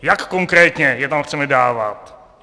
Jak konkrétně je tam chceme dávat?